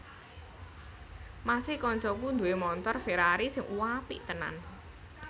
Mas e koncoku duwe montor Ferrari sing uapik tenan